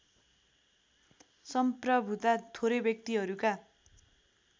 संप्रभुता थोरै व्यक्तिहरूका